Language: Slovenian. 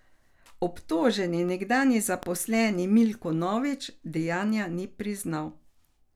Obtoženi nekdanji zaposleni Milko Novič dejanja ni priznal.